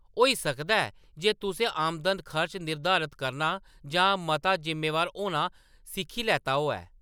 होई सकदा ऐ जे तुसें आमदन-खर्च निर्धारत करना जां मता ज़िम्मेवार होना सिक्खी लैता होऐ।